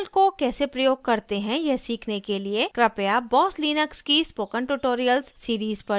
terminal को कैसे प्रयोग करते हैं यह सीखने के लिए कृपया boss linux की spoken tutorial series पर जाएँ